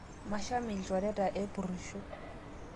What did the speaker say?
Masham lchoreta epurusho